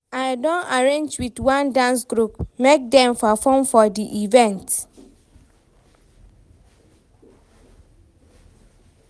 I don arrange wit one dance group, make dem perform for di event.